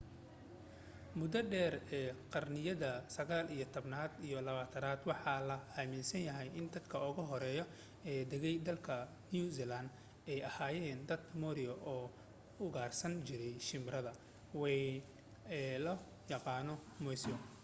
mudo dheer ee qarniyada sagaal iyo tobanaad iyo labaatanaad waxaa la aaminsanaa in dadka ugu hore ee degay dalka new zealand ay ahaayeen dadka maori oo ugaarsan jiray shimbirada wayn ee loo yaqaanay moas